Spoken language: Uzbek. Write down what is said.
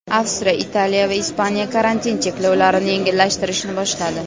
Avstriya , Italiya va Ispaniya karantin cheklovlarini yengillashtirishni boshladi.